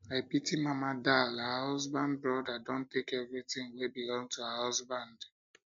i pity mama dal her husband brother don take everything wey belong to her husband husband